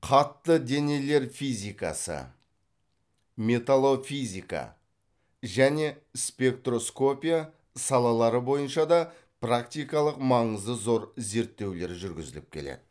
қатты денелер физикасы металлофизика және спектроскопия салалары бойынша да практикалық маңызы зор зерттеулер жургізіліп келеді